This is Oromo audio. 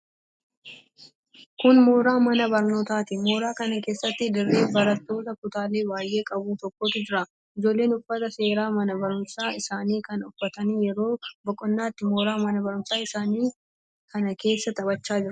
Kun mooraa mana barnootaati. Moora kana keessatti daree barnootaa kutaalee baay'ee qabu tokkotu jira. Ijoolleen uffata seeraa mana barumsaa isaanii kana uffatanii yeroo boqonnaatti mooraa mana barumsaa isaanii kana keessa taphachaa jiru.